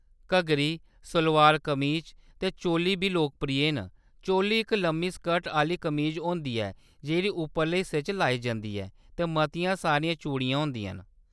घग्गरी, सलोआर, कमीच ते चोली बी लोकप्रिय न। चोली इक लम्मी स्कर्ट आह्‌‌‌ली कमीज होंदी ऐ जेह्‌ड़ी उपरले हिस्से च लाई जंदी ऐ ते मतियां सारियां चूड़ियां होंदियां न।